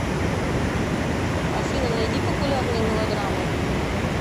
афина найди популярные мелодрамы